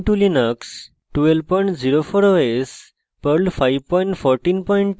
ubuntu linux 1204 os